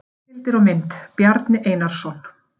Heimildir og mynd: Bjarni Einarsson.